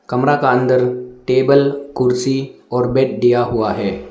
कमरा का अंदर टेबल कुर्सी और बेड दिया हुआ है।